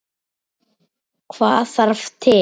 Hvað þarf til?